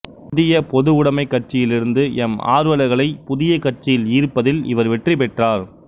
இந்தியப் பொதுவுடைமைக் கட்சியிலிருந்து எம் ஆர்வலர்களை புதிய கட்சியில் ஈர்ப்பதில் இவர் வெற்றி பெற்றார்